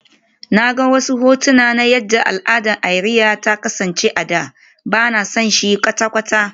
Na ga wasu hotuna na yadda al'adar iria ta kasance a da, ba na son shi kwata-kwata